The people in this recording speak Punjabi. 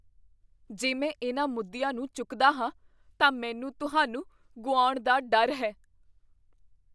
ਜੇ ਮੈਂ ਇਹਨਾਂ ਮੁੱਦਿਆਂ ਨੂੰ ਚੁੱਕਦਾ ਹਾਂ, ਤਾਂ ਮੈਨੂੰ ਤੁਹਾਨੂੰ ਗੁਆਉਣ ਦਾ ਡਰ ਹੈ।